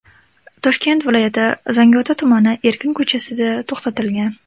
Toshkent viloyati Zangiota tumani Erkin ko‘chasida to‘xtatilgan.